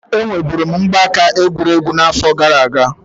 Enwe buru m mgbaaka egwurugwu na afọ gara aga.